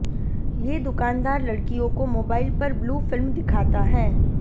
ये दुकानदार लड़कियों को मोबाइल पर ब्लू फिल्म दिखाता है